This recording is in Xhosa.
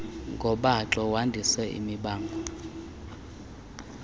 ngobaxo wandise imibango